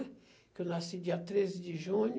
Porque eu nasci dia treze de junho.